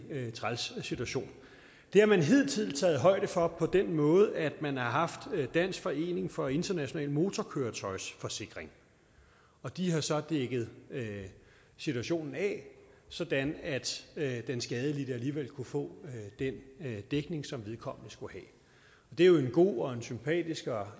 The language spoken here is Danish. træls situation det har man hidtil taget højde for på den måde at man har haft dansk forening for international motorkøretøjsforsikring og de har så dækket situationen af sådan at den skadelidte alligevel kunne få den dækning som vedkommende skulle have det er jo en god og sympatisk og